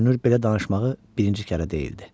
Görünür belə danışmağı birinci kərə deyildi.